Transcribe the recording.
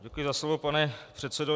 Děkuji za slovo, pane předsedo.